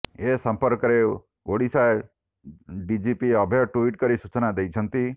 ଏସମ୍ପର୍କରେ Odisha DGP Abhay tweet କରି ସୂଚନା ଦେଇଛନ୍ତି